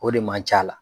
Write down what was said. O de man c'a la